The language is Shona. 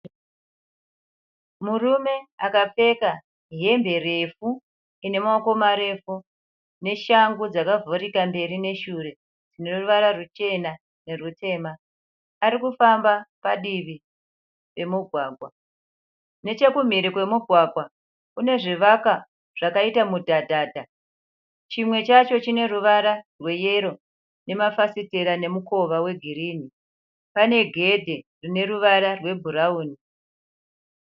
Murume akapfeka hembe refu ine maoko marefu, neshangu dzakavhurika mberi neshure dzine ruvara ruchena nerutema. Arikufamba padivi remugwagwa. Nechekumhiri kwemugwagwa, kune zvivakwa zvakaita mudhadhadha. Chimwe chacho chine ruvara rwe yero nemafafitera nemukova we girinhi. Pane gedhe rine ruvara rwe bhurauni.